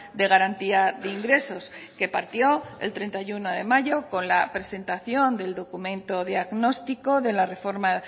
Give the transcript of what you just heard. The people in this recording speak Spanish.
de garantía de ingresos que partió el treinta y uno de mayo con la presentación del documento diagnóstico de la reforma